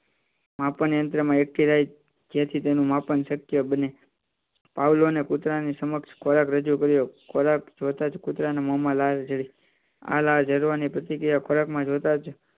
માપન યંત્રમાં એક થી રાત જેથી તેનું માપન શક્ય બને પાવલોને કૂતરાની સમક્ષ ખોરાક રજૂ કર્યો ખોરાકમાં જોતા જ